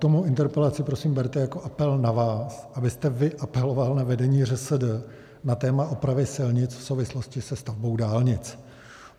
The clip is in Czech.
Mou interpelaci prosím berte jako apel na vás, abyste vy apeloval na vedení ŘSD na téma opravy silnic v souvislosti se stavbou dálnic.